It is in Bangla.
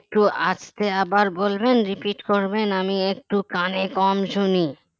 তো আস্তে আবার বলবেন repeat করবেন আমি একটু কানে কম শুনি